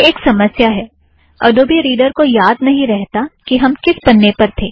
यह एक समस्या है - अड़ोबी रीड़र को याद नहीं रहता कि हम किस पन्ने पर थे